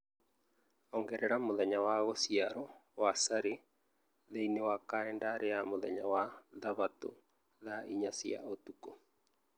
ongerera mũthenya wa gũciarũo wa Sally thĩinĩ wa kalendarĩ ya mũthenya wa Thabatũ thaa inya cia ũtukũ